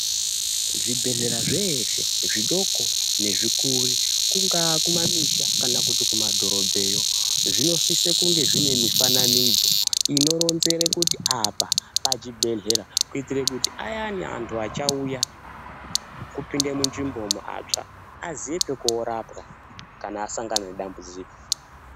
Zvibhedhlera zveshe, zvidoko nezvikuru, kungaa kumamisha kana kuti kumadhorobheyo, zvinosise kunge zvine mifananidzo inoronzere kuti apa pachibhedhlera, kuitira kuti ayani antu achauya, kupinde munzvimbomo, atsva, aziye pokorapwa kana asangana nedambudziko.